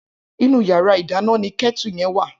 Inú iyàrá idàná ni kètú yen wá